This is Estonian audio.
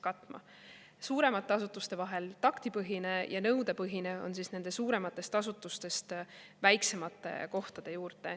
Suuremate vahel on taktipõhine ja nõudepõhine on väiksemate kohtade juurde.